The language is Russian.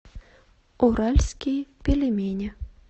уральские пельмени